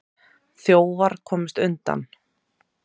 Þjófar komust undan.